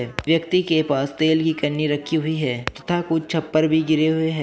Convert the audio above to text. एक व्यक्ति के पास तेल की कैनी रखी हुई है तथा कुछ छप्पर भी गिरे हुए हैं।